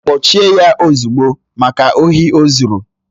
Kpọchie ya ozugbo! Maka ohi ozuru